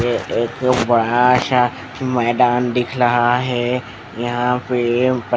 ए ए एक बड़ा सा मैदान दिख रहा है यहाँ पे --